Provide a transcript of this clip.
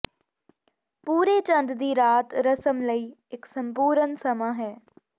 ਪੂਰੇ ਚੰਦ ਦੀ ਰਾਤ ਰਸਮ ਲਈ ਇੱਕ ਸੰਪੂਰਨ ਸਮਾਂ ਹੈ